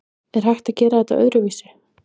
Er hægt að gera þetta öðruvísi?